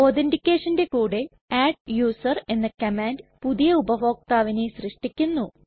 ഒധെറ്റികെഷന്റെ കൂടെ അഡ്ഡൂസർ എന്ന കമാൻഡ് പുതിയ ഉപഭോക്താവിനെ സൃഷ്ടിക്കുന്നു